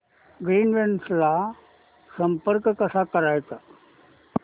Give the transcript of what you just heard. Greenwaves ला संपर्क कसा करायचा